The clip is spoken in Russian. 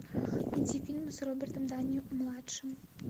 найти фильмы с робертом дауни младшим